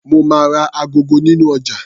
Mo máa ra agogo nínú ọjà.